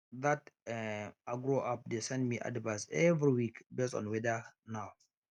that um agro app dey send me advice every week based on weather now